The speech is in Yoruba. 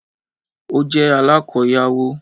Ó jẹ́ alákoyawó